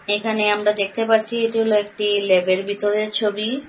এখানে আমরা দেখতে পারছি এটি হল একটি লেব -এর বিতরের ছবি।